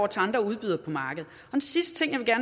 til andre udbydere på markedet den sidste ting jeg